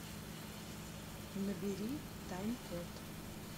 набери тайм код